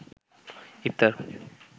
ইফতার